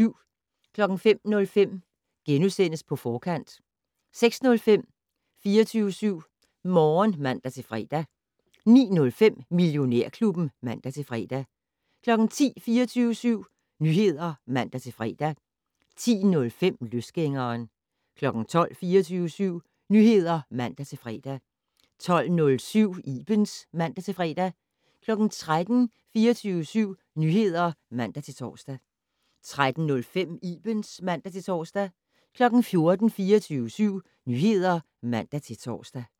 05:05: På Forkant * 06:05: 24syv Morgen (man-fre) 09:05: Millionærklubben (man-fre) 10:00: 24syv Nyheder (man-fre) 10:05: Løsgængeren 12:00: 24syv Nyheder (man-fre) 12:07: Ibens (man-fre) 13:00: 24syv Nyheder (man-tor) 13:05: Ibens (man-tor) 14:00: 24syv Nyheder (man-tor)